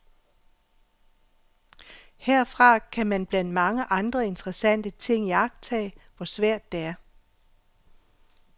Herfra kan man blandt mange andre interessante ting iagttage, hvor svært det er.